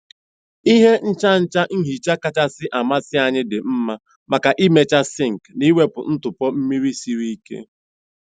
Ihe nchacha nhicha kachasị amasị anyị dị mma maka ịmecha sinks na iwepu ntụpọ mmiri siri ike.